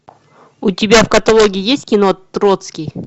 у тебя в каталоге есть кино троцкий